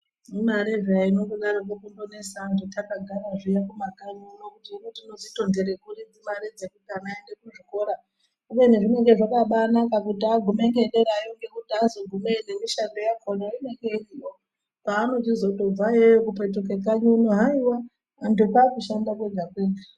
Imare peya inondodaroko kutonesa antu takagara zviya kumakanyi uno kuti hino tinoitondere kuri mare dzekuti ana aende kuzvikora kubeni zvinenge zvakabanaka kuti agume ngendayo ngekuti azogumeyo nemishando yakona inenge iriyo, paanochizotobva iyoyo kupetuke kanyi uno haiwa antu kwakushanda kwega kwega.